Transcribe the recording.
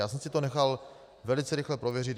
Já jsem si to nechal velice rychle prověřit.